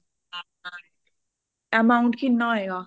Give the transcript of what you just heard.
amount ਕਿਹਨਾਂ ਹੋਏਗਾ